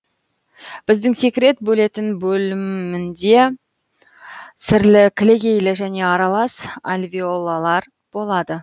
бездің секрет бөлетін бөлімінде сірлі кілегейлі және аралас альвеолалар болады